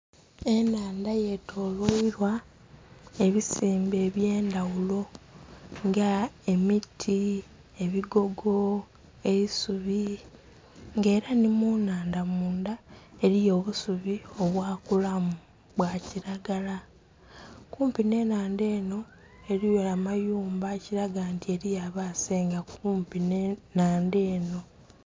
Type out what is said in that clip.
Enhandha ye tolweilwa ebisimbe ebye ndhaghulo nga emiti, ebigogo, eisubi nga era nhi mu nhandha mundha eriyo obusubi obwa kulamu bwa kilagala. Kumpi nhe enhandha enho eriyo amayumba ekilaga nti eriyo abasenga kumpi nhe nhandha enho.